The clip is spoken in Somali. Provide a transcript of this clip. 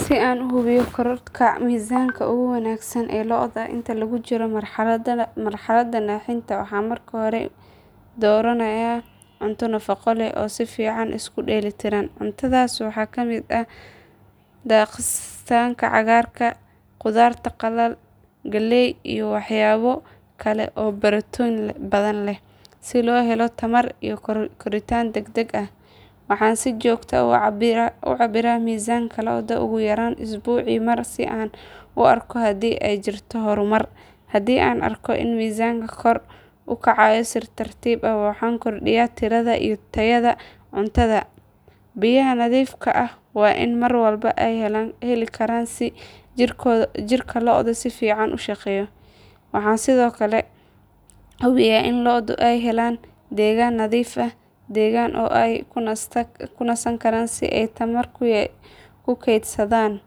Si aan u hubiyo korodhka miisanka ugu wanaagsan ee lo'da inta lagu jiro marxaladda naaxinta waxaan marka hore dooranayaa cunto nafaqo leh oo si fiican isku dheelitiran. Cuntadaas waxaa ka mid ah daaqsinka cagaaran, qudaar qalalan, galley iyo waxyaabo kale oo borotiin badan leh si loo helo tamar iyo koritaan degdeg ah. Waxaan si joogto ah u cabbiraa miisaanka lo'da ugu yaraan usbuucii mar si aan u arko haddii ay jirto horumar. Haddii aan arko in miisaanku kor u kacayo si tartiib ah waxaan kordhiyaa tirada iyo tayada cuntada. Biyaha nadiifka ah waa in mar walba ay heli karaan si jirka lo'du si fiican u shaqeeyo. Waxaan sidoo kale hubiyaa in lo'du ay helaan deegaan nadiif ah, deggan oo ay ku nasan karaan si ay tamar u kaydsadaan.